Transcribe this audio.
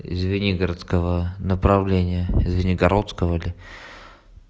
из звенигородского направления из звенигородского ли